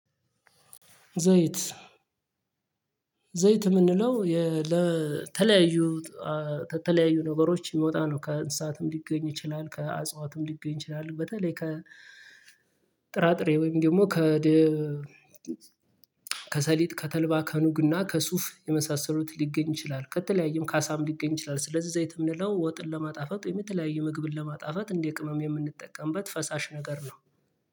ዘይት ዘይት እምንለው የ ለተለያዩ ተተለያዩ ነገሮች እሚወጣ ነው ከእንስሳትም ሊገኝ ይችላል ከአጽዋትም ሊገኝ ይችላል። በተለይ ከጥራጥሬ ወይም ደግሞ ከ ደ ከሰሊጥ ከተልባ ከኑግና ከሱፍ የመሳሰሉት ሊገኝ ይችላል ከተለያየም ከዓሳም ሊገኝ ይችላል። ስለዚህ ወይት እምንለው ወጥን ለማጣፈጥ የተለያየ ምግብንን ለማጣፈጥ እንደ ቅመም የምንጠቀምበት ፈሳሽ ነገር ነው